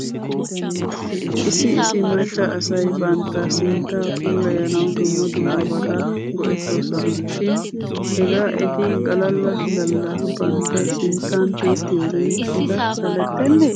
Issi issi macca asay bantta sinttaa puulayanaw dumma dummabata go'etoosona shin hegaa eti galala galla bantta sinttan tiyettiyoogee eta salettenee?